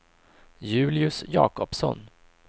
Julius Jacobsson